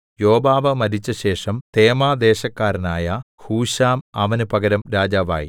യോബാബ് മരിച്ചശേഷം തേമാദേശക്കാരനായ ഹൂശാം അവന് പകരം രാജാവായി